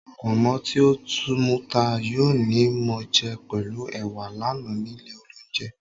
Pọ̀nmọ́ tí ó muta yó ni mo jẹ pẹ̀lú ẹwà lánàá nílé olóunjẹ